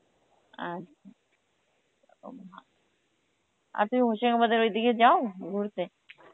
আচ্ছা, . আর তুমি হশিমাবাদের ওইদিকে যাও ঘুরতে?